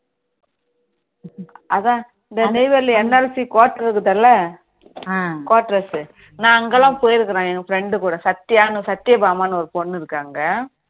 அதான் இந்த Neyveli NLC quarters இருக்குல quarters நான் அங்கலாம் போயிருக்கேன் என் friends சத்தியானு சத்தியபாமான்னு ஒரு பொண்ணு இருக்கு அங்க